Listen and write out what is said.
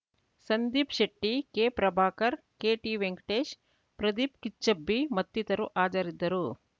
ಸಂದೀಪ್‌ ಶೆಟ್ಟಿ ಕೆಪ್ರಭಾಕರ್‌ ಕೆಟಿ ವೆಂಕಟೇಶ್‌ ಪ್ರದೀಪ್‌ ಕಿಚ್ಚಬ್ಬಿ ಮತ್ತಿತರು ಹಾಜರಿದ್ದರು